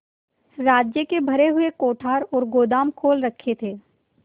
राज्य के भरे हुए कोठार और गोदाम खोल रखे थे